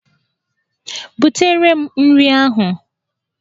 Butere m nri ahụ!